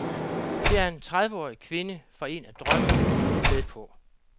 Det er en trediveårig kvinde fra en af drømmegrupperne med på.